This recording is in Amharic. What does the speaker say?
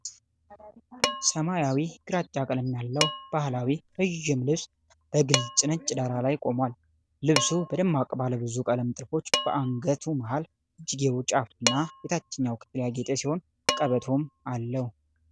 ሰማያዊ ግራጫ ቀለም ያለው ባህላዊ ረዥም ልብስ በግልጽ ነጭ ዳራ ላይ ቆሟል። ልብሱ በደማቅ ባለብዙ ቀለም ጥልፎች በአንገቱ፣ መሃሉ፣ እጅጌው ጫፍ እና የታችኛው ክፍል ያጌጠ ሲሆን ቀበቶም አለው።